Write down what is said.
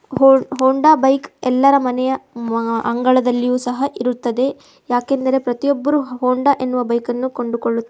Honda bike ಯಲ್ಲರ ಮನೆಯ ಮಾ ಅಂಗಳದಲ್ಲಿಯೂ ಸಹ ಇರುತ್ತದೆ. ಯಾಕೆಂದರೆ ಪ್ರತಿಯೊಬ್ಬರು ಹೊಂಡ ಎನ್ನುವ ಬೈಕ್ ಅನ್ನು ಕೊಂಡುಕೊಳ್ಳು--